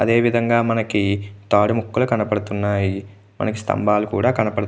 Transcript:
అదే విదంగా మనకి తాడు ముక్కలు కనబడుతున్నాయి. మనకి స్తంబాలు కనబ --